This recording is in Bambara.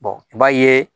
i b'a ye